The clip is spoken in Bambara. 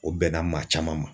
O bɛnna maa caman ma